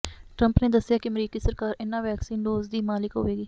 Trump ਨੇ ਦੱਸਿਆ ਕਿ ਅਮਰੀਕੀ ਸਰਕਾਰ ਇਨ੍ਹਾਂ ਵੈਕਸੀਨ ਡੋਜ਼ ਦੀ ਮਾਲਿਕ ਹੋਵੇਗੀ